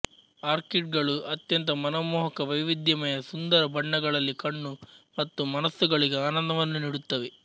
orchid ಗಳು ಅತ್ಯಂತ ಮನಮೋಹಕ ವೈವಿಧ್ಯಮಯ ಸುಂದರ ಬಣ್ಣಗಳಲ್ಲಿ ಕಣ್ಣು ಮತ್ತು ಮನಸ್ಸುಗಳಿಗೆ ಆನಂದವನ್ನು ನೀಡುತ್ತವೆ